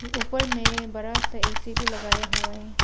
ऊपर में बड़ा सा ए_सी भी लगाया हुआ है।